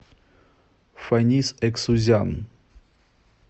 фанис эксузян